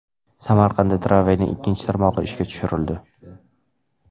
Samarqandda tramvayning ikkinchi tarmog‘i ishga tushirildi.